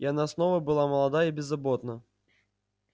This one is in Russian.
и она снова была молода и беззаботна